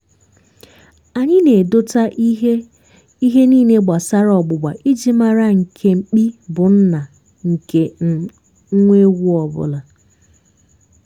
anyị na-edota ihe ihe niile gbasara ọgbụgba iji mara nke mkpi bụ nna nke um nwa ewu ọ bụla.